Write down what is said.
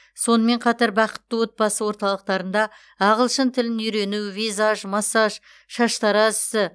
сонымен қатар бақытты отбасы орталықтарында ағылшын тілін үйрену визаж массаж шаштараз ісі